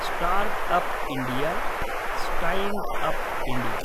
startup India, standup India